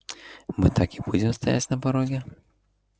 мы так и будем стоять на пороге